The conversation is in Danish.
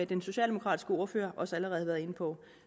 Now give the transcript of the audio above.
den socialdemokratiske ordfører også allerede har været inde på